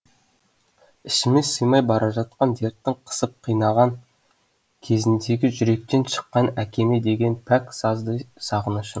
ішіме сыймай бара жатқан дерттің қысып қинаған кезіндегі жүректен шыққан әкеме деген пәк сазды сағынышым